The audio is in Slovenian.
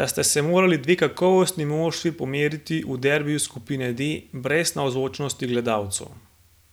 da sta se morali dve kakovostni moštvi pomeriti v derbiju skupine D brez navzočnosti gledalcev.